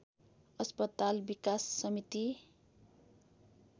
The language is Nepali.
अस्पताल विकास समिति